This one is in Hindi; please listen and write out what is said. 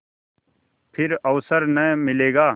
फिर अवसर न मिलेगा